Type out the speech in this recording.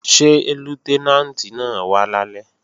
Ṣé Lútẹ́nàǹtì náà wá lálẹ́?